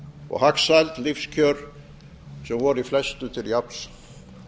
og hagsæld lífskjör sem voru í flestu til jafns